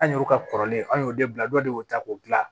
An y'olu ka kɔrɔlen an y'o de bila dɔ de y'o ta k'o dilan